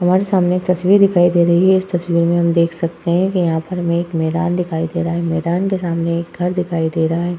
हमारे सामने एक तस्वीर दिखाई दे रही है। इस तस्वीर में हम देख सकते हैं कि यहाँ पर हमें एक मैदान दिखाई दे रहा है। मैदान के सामने एक घर दिखाई दे रहा है।